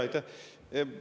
Aitäh!